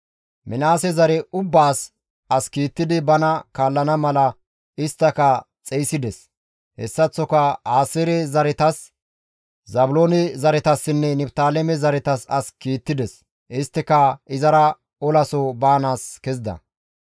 Minaase zare ubbaas as kiittidi bana kaallana mala isttaka xeyssides; hessaththoka Aaseere zaretas, Zaabiloone zaretasinne Niftaaleme zaretas as kiittides; isttika izara olaso baanaas kezida.